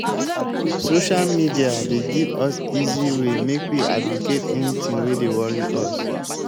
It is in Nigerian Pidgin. social media dey give us easy way make we advocate anything wey dey worry us.